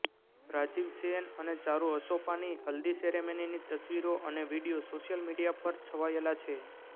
રાજીવ સેન અને ચારુ અસોપાની હલ્દી સેરેમનીની તસવીરો અને વીડિયો સોશિયલ મીડિયા પર છવાયેલા છે